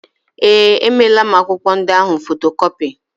Ee, emeela m akwụkwọ ndị ahụ fotokọpi.